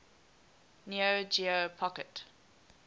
neo geo pocket